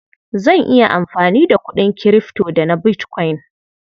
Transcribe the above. Zan iya amfani da kuɗin kirifto da na bitkwain.